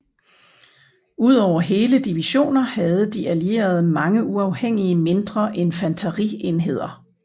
Udover hele divisioner havde de Allierede mange uafhængige mindre infanterienheder